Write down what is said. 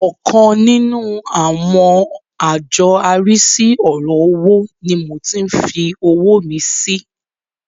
Ọkan nínú àwọn àjọ arísí ọ̀rọ̀ owó ni mo tí ń fi owó mi sí.